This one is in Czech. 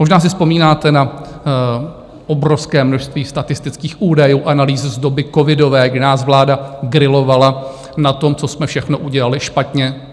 Možná si vzpomínáte na obrovské množství statistických údajů, analýz z doby covidové, kdy nás vláda grilovala na tom, co jsme všechno udělali špatně.